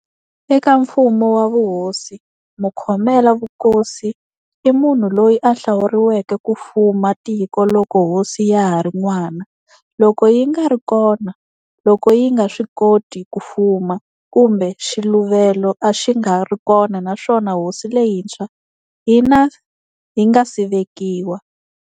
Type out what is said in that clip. Eka mfumo wa vuhosi, Mukhomela vukosi i munhu loyi a hlawuriweke ku fuma tiko loko hosi ya hari n'wana, loko yingari kona, loko yinga swi koti kufuma, kumbe xiluvelo a xi nga ri kona naswona hosi leyintshwa yinga si vekiwa.